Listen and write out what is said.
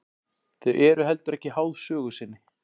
Þau eru heldur ekki háð sögu sinni.